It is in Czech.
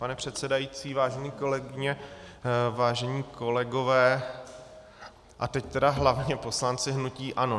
Pane předsedající, vážené kolegyně, vážení kolegové, a teď teda hlavně poslanci hnutí ANO.